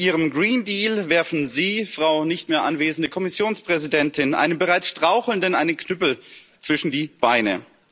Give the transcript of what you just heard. Mit Ihrem Green Deal werfen Sie, Frau nicht mehr anwesende Kommissionspräsidentin, einem bereits Strauchelnden einen Knüppel zwischen die Beine.